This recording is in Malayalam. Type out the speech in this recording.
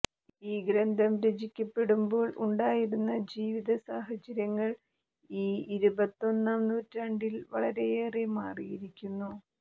ഈ ഗ്രന്ഥം രചിക്കപ്പെടുമ്പോൾ ഉണ്ടായിരുന്ന ജീവിത സാഹചര്യങ്ങൾ ഈ ഇരുപത്തൊന്നാം നൂറ്റാണ്ടിൽ വളരെയേറെ മാറിയിരിക്കുന്നു